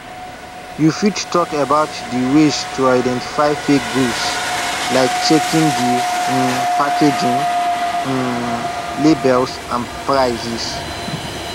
you fit talk about di ways to identify fake goods like checking di um packaging um labels and prices